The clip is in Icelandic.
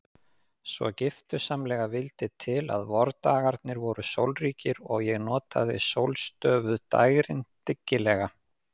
Svo giftusamlega vildi til að vordagarnir voru sólríkir og ég notaði sólstöfuð dægrin dyggilega.